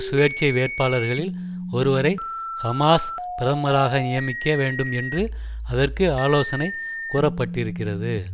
சுயேட்சை வேட்பாளர்களில் ஒருவரை ஹமாஸ் பிரதமராக நியமிக்க வேண்டும் என்று அதற்கு ஆலோசனை கூற பட்டிருக்கிறது